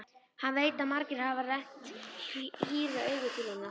Hann veit að margir hafa rennt hýru auga til hennar.